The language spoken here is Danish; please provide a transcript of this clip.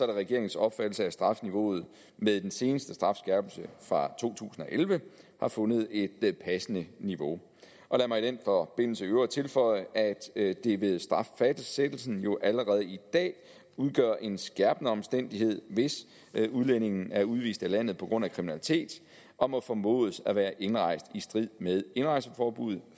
regeringens opfattelse at strafniveauet med den seneste strafskærpelse fra to tusind og elleve har fundet et passende niveau lad mig i den forbindelse i øvrigt tilføje at det ved straffastsættelsen jo allerede i dag udgør en skærpende omstændighed hvis udlændingen er udvist af landet på grund af kriminalitet og må formodes at være indrejst i strid med indrejseforbuddet